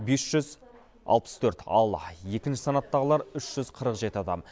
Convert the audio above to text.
бес жүз алпыс төрт ал екінші санаттағылар үш жүз қырық жеті адам